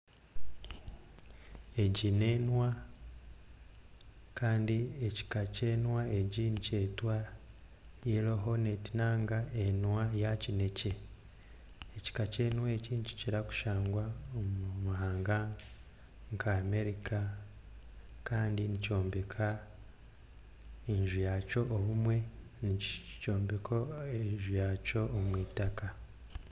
Egi nenwa Kandi ekika kyenwa egi nikyetwa egi nikyetwa yellow honet Kandi nenwa eyakinekye ekika kyenwa eki nikikura kushangwa nka America kandi nikyombeka enju yaakyo obumwe omwitaka